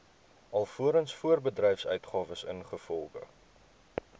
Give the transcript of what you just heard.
alvorens voorbedryfsuitgawes ingevolge